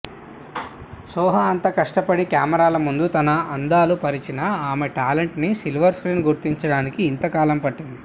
సోహా అంత కష్టపడి కెమెరాల ముందు తన అందాలు పరిచినా ఆమె టాలెంట్ని సిల్వర్ స్క్రీన్ గుర్తించడానికి ఇంతకాలం పట్టింది